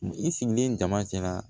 I sigilen dama cɛla